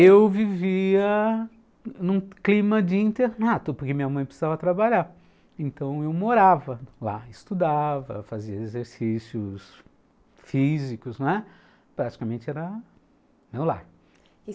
Eu vivia num clima de internato, porque minha mãe precisava trabalhar, então eu morava lá, estudava, fazia exercícios físicos, não é? praticamente era meu lar.